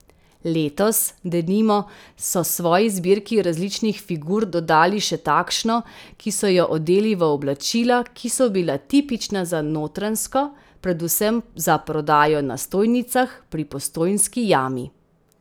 Letos, denimo, so svoji zbirki različnih figur dodali še takšno, ki so jo odeli v oblačila, ki so bila tipična za Notranjsko, predvsem za prodajo na stojnicah pri Postojnski jami.